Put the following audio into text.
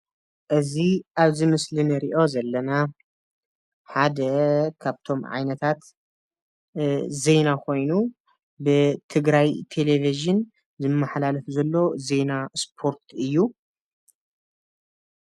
እዚ አብዚ ምስሊ እንሪኦ ዘለና ሓደ ካብቶም ዓይነታት ዜና ኾይኑ ብትግራይ ቴሌቪዥን ዝመሓላለፍ ዘሎ ዜና ስፓርት እዩ፡፡